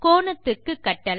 கோணத்துக்கு கட்டளை